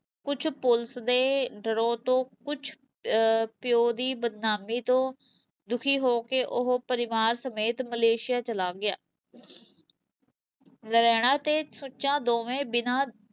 ਕੁਛ ਪੁਲਿਸ ਦੇ ਡਰੋਂ ਤੇ ਕੁਛ ਅਹ ਪਿਉ ਦੀ ਬਦਨਾਮੀ ਤੋਂ ਦੁਖੀ ਹੋ ਕੇ ਉਹ ਪਰਿਵਾਰ ਸਮੇਤ ਮਲੇਸ਼ੀਆ ਚਲਾ ਗਿਆ ਨਰੈਣਾ ਤੇ ਸੁੱਚਾ ਦੋਵੇਂ ਬਿਨਾਂ